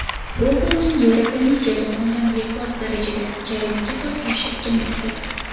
Google’ning Yevrokomissiya tomonidan rekord darajada jarimaga tortilishi kutilmoqda.